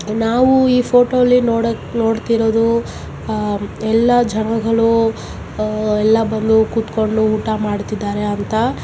ನಾವು ಈ ಫೋಟೋದಲ್ಲಿ ನೋಡು ನೋಡ್ತಿರೋದು ಆಹ್ ಎಲ್ಲಾ ಜನಗಳು ಆಹ್ ಎಲ್ಲಾ ಬಂದು ಕೂತುಕೊಂಡು ಊಟ ಮಾಡ್ತಿದ್ದಾರೆ ಅಂತ.